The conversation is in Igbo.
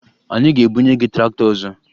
Anyị ga-ebunye gị traktọ ọzọ